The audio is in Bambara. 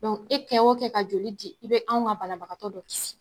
Dɔnku e kɛ o kɛ ka joli di i be anw ka banabagatɔ dɔ kisi